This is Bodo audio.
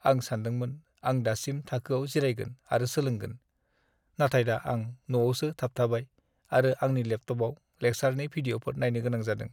आं सानदोंमोन आं दासिम थाखोयाव जिरायगोन आरो सोलोंगोन, नाथाय दा आं न'आवसो थाबथाबाय आरो आंनि लेपटपआव लेकचारनि भिडिअ'फोर नायनो गोनां जादों।